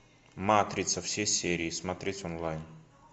матрица все серии смотреть онлайн